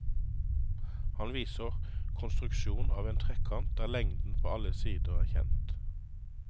Han viser konstruksjon av en trekant der lengden på alle sider er kjent.